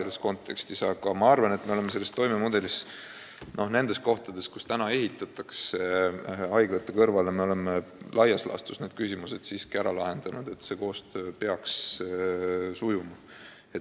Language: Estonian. Ma siiski arvan, et me oleme kõnealuse mudeli puhul laias laastus need küsimused ära lahendanud ja koostöö peaks sujuma.